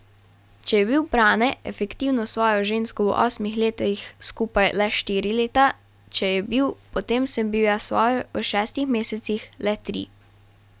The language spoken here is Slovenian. Če je bil Brane efektivno s svojo žensko v osmih letih skupaj le štiri leta, če je bil, potem sem bil jaz s svojo v šestih mesecih le tri.